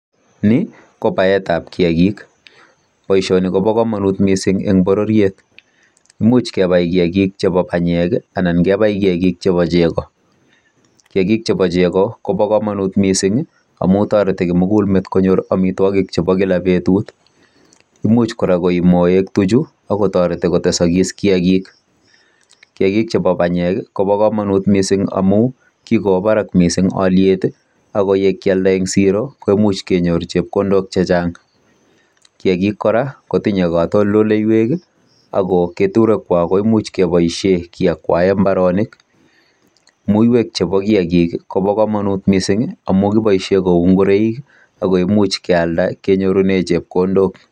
Ni ko baet ab kiyagik. Boisioni kobo komonut mising en bororiet, imuch kebai kiyagik chebo banyek anankebai kiyagik chebo chego. Kiyagik chebo chego kobo komonut mising amun toreti kimugul met konyor amitwogik chebo kila betut. Imuch kora koii moek tuchu ak kotoreti kotesokis kiyagik. Kiyagik chebo banyek kobo komonut mising amun kigowo barak miising olyet ago ye kialda en siro koimuch kenyor chepkondok che chang. Kiyagik kora kotinye katoltoleiwek ago keturek kwak koimuch keboishen kiakwaen mbarenik. Muiywek chebo kiyagik kobo komonut mising amun kiboishen kou ngoroik ago imuch kealda kenyorunen chepkondok.